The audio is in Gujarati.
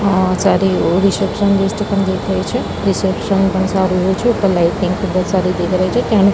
અહ જ્યારે ઓ રિસેપ્શનિષ્ઠ પણ દેખાય છે રિસેપ્શન પણ સારો એવો છે ઉપર લાઈટિંગ ખુબ જ સારી એવી દેખાઈ રહી છે તેણે--